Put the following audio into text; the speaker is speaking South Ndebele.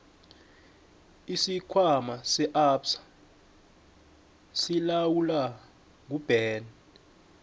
isikhwama se absa silawulwa nguben